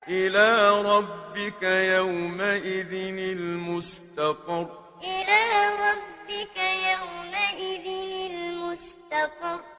إِلَىٰ رَبِّكَ يَوْمَئِذٍ الْمُسْتَقَرُّ إِلَىٰ رَبِّكَ يَوْمَئِذٍ الْمُسْتَقَرُّ